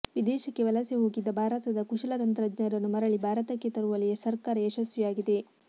ವಿದೇಶಕ್ಕೆ ವಲಸೆ ಹೋಗಿದ್ದ ಭಾರತದ ಕುಶಲ ತಂತ್ರಜ್ಞರನ್ನು ಮರಳಿ ಭಾರತಕ್ಕೆ ತರುವಲ್ಲಿ ಸರ್ಕಾರ ಯಶಸ್ವಿಯಾಗಿದೆ